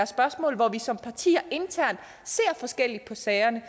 spørgsmål hvor vi som partier internt ser forskelligt på sagerne